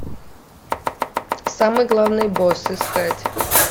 самый главный босс искать